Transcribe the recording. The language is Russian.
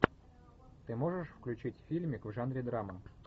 ты можешь включить фильмик в жанре драма